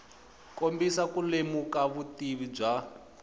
kombisa ku lemuka vutivi bya